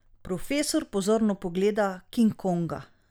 Profesor pozorno pogleda King Konga.